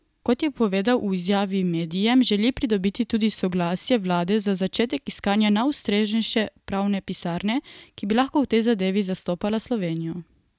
Kot je povedal v izjavi medijem, želi pridobiti tudi soglasje vlade za začetek iskanja najustreznejše pravne pisarne, ki bi lahko v tej zadevi zastopala Slovenijo.